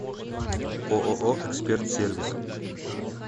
ооо эксперт сервис